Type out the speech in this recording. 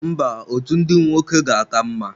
Mba, otu ndị nwoke ga-aka mma.